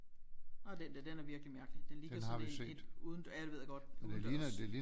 Og den der den er virkelig mærkelig den ligner sådan en et udendørs ja det ved jeg godt udendørs